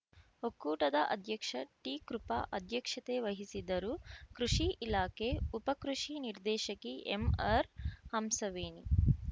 ಒಕ್ಕೂಟದ ಅಧ್ಯಕ್ಷ ಟಿಕೃಪ ಅಧ್ಯಕ್ಷತೆ ವಹಿಸಿದ್ದರು ಕೃಷಿ ಇಲಾಖೆ ಉಪ ಕೃಷಿ ನಿರ್ದೇಶಕಿ ಎಂಆರ್ಹಂಸವೇಣಿ